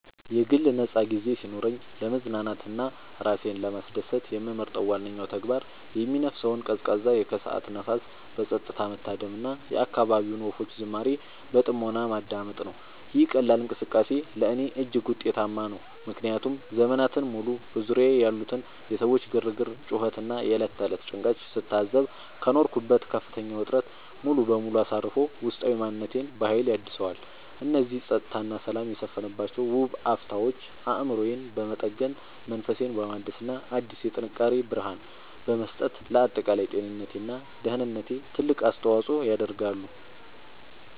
የግል ነፃ ጊዜ ሲኖረኝ ለመዝናናት እና ራሴን ለማስደሰት የምመርጠው ዋነኛው ተግባር የሚነፍሰውን ቀዝቃዛ የከሰዓት ንፋስ በፀጥታ መታደም እና የአካባቢውን ወፎች ዝማሬ በጥሞና ማዳመጥ ነው። ይህ ቀላል እንቅስቃሴ ለእኔ እጅግ ውጤታማ ነው፤ ምክንያቱም ዘመናትን ሙሉ በዙሪያዬ ያሉትን የሰዎች ግርግር፣ ጩኸት እና የዕለት ተዕለት ጭንቀት ስታዘብ ከኖርኩበት ከፍተኛ ውጥረት ሙሉ በሙሉ አሳርፎ ውስጣዊ ማንነቴን በሀይል ያድሰዋል። እነዚህ ፀጥታ እና ሰላም የሰፈነባቸው ውብ አፍታዎች አእምሮዬን በመጠገን፣ መንፈሴን በማደስ እና አዲስ የጥንካሬ ብርሃን በመስጠት ለአጠቃላይ ጤንነቴ እና ደህንነቴ ትልቅ አስተዋፅዖ ያደርጋሉ።